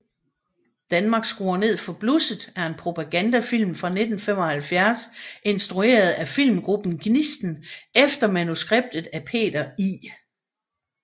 Danmark skruer ned for blusset er en propagandafilm fra 1975 instrueret af Filmgruppen Gnisten efter manuskript af Peter I